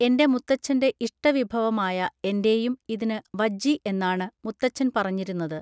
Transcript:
എന്റെ മുത്തച്ഛന്റെ ഇഷ്ടവിഭവമായ എന്റേയും ഇതിന് വജ്ജി എന്നാണ് മുത്തച്ഛൻ പറഞ്ഞിരുന്നത്